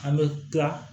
An bɛ tila